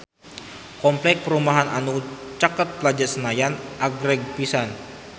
Kompleks perumahan anu caket Plaza Senayan agreng pisan